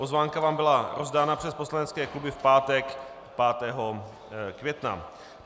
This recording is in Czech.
Pozvánka vám byla rozdána přes poslanecké kluby v pátek 5. května.